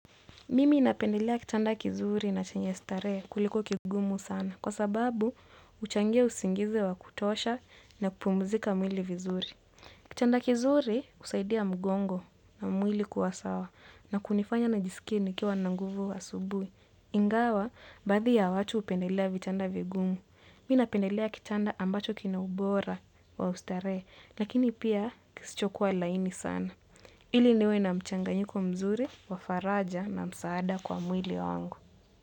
Mimi napendelea kitanda kizuri na chenye starehe kuliko kigumu sana kwa sababu huchangia usingizi wa kutosha na kupumzika vizuri. Kitanda kizuri husaidia mgongo na mwili kuwa sawa na kunifanya nijisikie nikiwa na nguvu asubuhi. Ingawa, baadhi ya watu hupendelea vitanda vigumu. Mimi napendelea kitanda ambacho kina ubora wa kustarehesha, lakini pia kisichokuwa laini sana. Ili niwe na mchanganyiko mzuri wa faraja na msaada kwa mwili wangu.